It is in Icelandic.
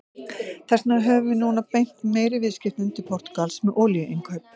Þess vegna höfum við núna beint meiri viðskiptum til Portúgals með olíuinnkaup.